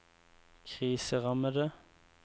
kriserammede